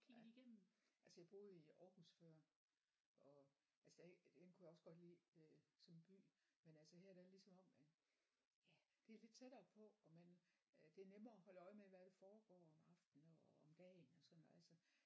Ja altså jeg boede i Aarhus før og altså der den kunne jeg også godt lide øh som by men altså her der er det ligesom om at ja det er lidt tættere på og man det er nemmere at holde øje med hvad der foregår om aftenen og om dagen og sådan noget altså